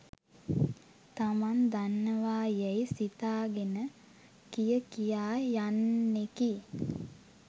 තමන් දන්නවා යැයි සිතාගෙන කිය කියා යන්නෙකි